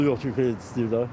Pulu yoxdu kredit istəyir də.